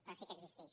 però sí que existix